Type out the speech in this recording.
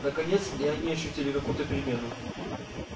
наконец и они ощутили какую-то перемену